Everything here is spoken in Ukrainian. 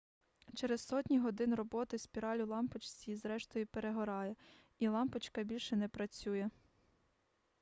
через сотні годин роботи спіраль у лампочці зрештою перегорає і лампочка більше не працює